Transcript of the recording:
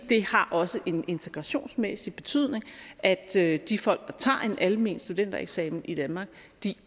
har også en integrationsmæssig betydning at at de folk der tager en almen studentereksamen i danmark